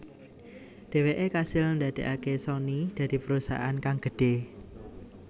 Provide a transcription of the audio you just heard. Dheweke kasil ndadeake Sony dadi perusahaan kang gedhe